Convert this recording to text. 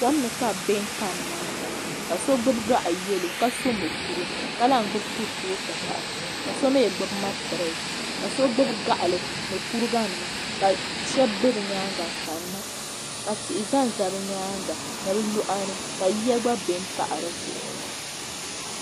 Kom ni ka bi bɛ n kani na ŋɔ ka so gbubi gaɣi yɛlo ka so mukuru ka lan gbubi kurifootu pahi ka so mi gbubi matirɛsi ka so gbubi gaɣili ni kuriga nima ka shɛba bɛ bi yɛanga n kani na ka tihi za n za bi yɛanga ni bi luɣa ni ka yiya gba bɛni pahi di zuɣu.